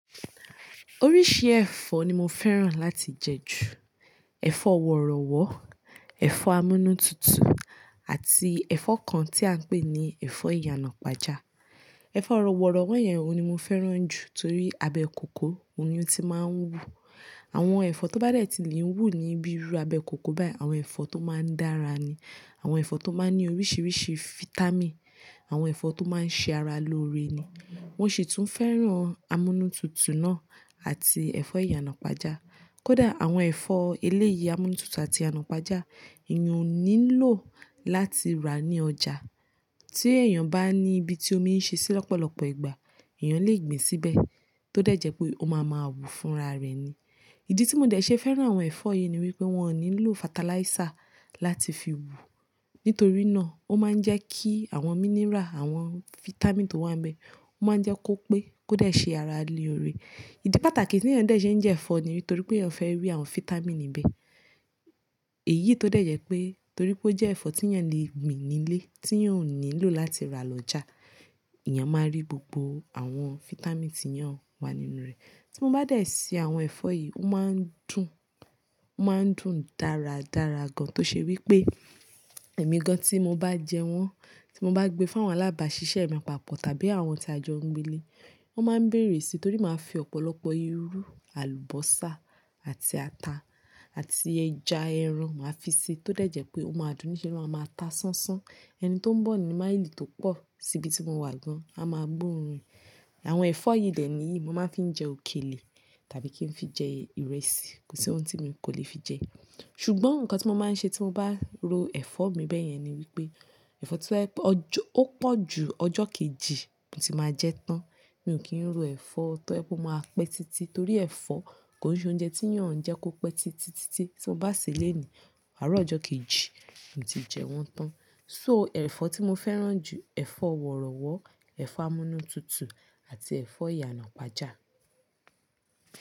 Oríṣi ẹ̀fọ́ ni mo fẹ́ràn láti jẹ ju. Ẹ̀fọ́ ọ̀rọ̀wọ́, ẹ̀fọ́ amúnútutù àti ẹ̀fọ́ kan tí à ń pè ní ẹ̀fọ́ ìyànàpájà. Ẹ̀fọ́ ọ̀rọ̀wọ́ yẹn òun ni mo fẹ́ràn jù torí abẹ́ kòkó òun ni ó ti máa ń wú. Àwọn ẹ̀fọ́ tó bá dẹ̀ tí lè ń wú níbi irú abẹ́ kòkó báyìí, àwọn ẹ̀fọ́ tó máa ń dára ni. Àwọn ẹ̀fọ́ tó máa ń ní oríṣiríṣi fitami, àwọn ẹ̀fọ́ tó máa ń ṣe ara lóore ni. Mo sì tún fẹ́ràn amúnútutù náà àti ẹ̀fọ́ ìyànàpájà. Kódà àwọn ẹ̀fọ́ eléyìí amúnútutù àti iyànàpájà, èèyàn ò nílò láti rà ní ọjà. Tí èèyàn bá ní ibi tí ómi ń ṣe sí lọ́pọ̀lọ́pọ̀ ìgbà, èèyàn lè gbìn síbẹ̀ tó dẹ̀ jẹ́ pé ó máa ma wú fúnra rẹ̀ ni. Ìdí tí mo dẹ̀ ṣe fẹ́ràn àwọn ẹ̀fọ́ yìí ni wípé wọ́n ò nílò fataláísà láti fi wú. Nítorí náà, ó máa ń jẹ́ kí àwọn mínírà, àwọn fitami tó wà níbẹ̀ ó máa ń jẹ́ kó pẹ́ kó dẹ̀ ṣe ara lóore. Ìdí pàtàkì tí èèyàn dẹ̀ ṣe ń jẹ ẹ̀fọ́ ni nítorí pé èèyàn fẹ́ rí àwọn fitami níbẹ̀. Èyí tó dẹ̀ jẹ́ pé torí pé ó jẹ́ ẹ̀fọ́ tí èèyàn lè gbìn nílé, tí òun nílò láti rà lọ́jà, èèyàn máa rí gbogbo àwọn fitami tí yán wà nínú rẹ̀. Tí mo bá dẹ̀ ṣe àwọn ẹ̀fọ́ yìí, ó máa ń dùn, ó máa ń dùn dáradára gan. Tó ṣe wípé ẹ̀mi gan tí mo bá jẹ wọ́n, tí mo bá gbé fún àwọn alábàásisẹ́ mi papọ̀ tàbí àwọn tí a jọ ń gbé nílé, wọ́n máa ń bèrè sí torí máa fi ọ̀pọ̀lọpọ̀ irú àlùbọ́sà àti ata àti ẹja, ẹran máa fi ṣe tó dẹ̀ jẹ́ pé ó máa dùn ni kí ó máa ma ta sánsán. Ẹni tó ń bọ̀ ní máìlì tó pọ̀ síbi tí mo wà gan á máa gbóòórùn. Àwọn ẹ̀fọ́ yìí dẹ̀ ni mo máa fi ń jẹ òkèlè tàbí kí n fi jẹ ìrẹsì, kò sí ohun tí mi kò lè fi jẹ. Ṣùgbọ́n nǹkan tí mo máa ń ṣe tí mo bá ro ẹ̀fọ́ mi bẹ́yẹn ni wípé ẹ̀fọ́ tí ó pọ̀ ju ọjọ́ kejì, n ò tí ì máa jẹ tán. Mi ò kí ń ro ẹ̀fọ́ tó ẹ́ bú máa pẹ́ títí torí ẹ̀fọ́ kò sí oúnjẹ tí yàn ń jẹ́ kó pẹ́ títí, títí tí mo bá ṣèsé lani àárọ̀ ọjọ́ kejì n ò tí ì jẹ wọ́n tán. So ẹ̀fọ́ tí mo fẹ́ràn jù, ẹ̀fọ́ ọ̀rọ̀wọ́, ẹ̀fọ́ amúnútutù àti ẹ̀fọ́ ìyànàpájà.